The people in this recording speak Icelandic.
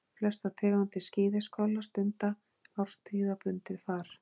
Flestar tegundir skíðishvala stunda árstíðabundið far.